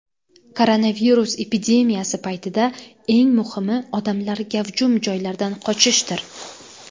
Koronavirus epidemiyasi paytida, eng muhimi, odamlar gavjum joylardan qochishdir.